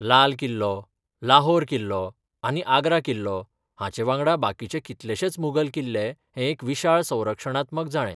लाल किल्लो, लाहोर किल्लो आनी आग्रा किल्लो, हांचेवांगडा बाकीचे कितलेशेच मुघल किल्ले हें एक विशाळ संरक्षणात्मक जाळें.